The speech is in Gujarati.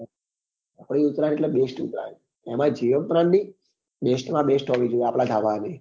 આપડી ઉતરાયણ એટલે best ઉતરાયણ એમાય જીવન ગ્રામ ની best માં best હોવી જોઈએ આપડા ધાબા ની